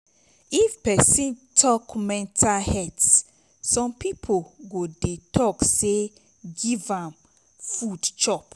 if pesin tok mental health som pipo go dey tok say giv am food chop